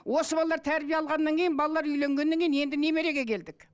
осы балалар тәрбие алғаннан кейін балалар үйленгеннен кейін енді немереге келдік